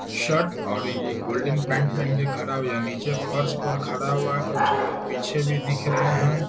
Shirt और ये golden pant पेहेन के खड़ा हो या नीचे फर्श पर खड़ा हुआ है। कुछ पीछे भी दिख रहे हैं।